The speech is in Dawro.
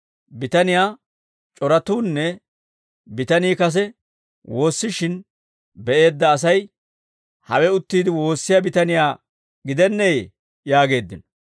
Bitaniyaa shooratuunne bitanii kase woossishin be'eedda asay, «Hawe uttiide woossiyaa bitaniyaa gidenneeyee?» yaageeddino.